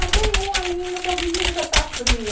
Ah, tem um ainda, pobrezinha, que chega está fria.